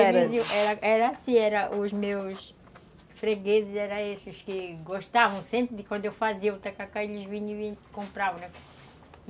Era era assim, os meus fregueses eram esses que gostavam sempre de quando eu fazia o tacacá, eles vinham e compravam, né